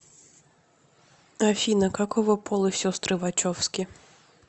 афина какого пола сестры вачовски